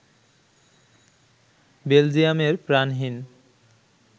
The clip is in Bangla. বেলজিয়ামের প্রাণহীন